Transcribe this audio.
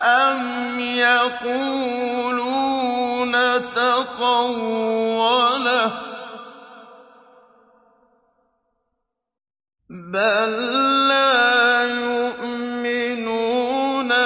أَمْ يَقُولُونَ تَقَوَّلَهُ ۚ بَل لَّا يُؤْمِنُونَ